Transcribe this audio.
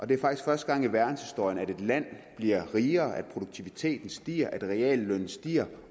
det er faktisk første gang i verdenshistorien at et land bliver rigere at produktiviteten stiger at reallønnen stiger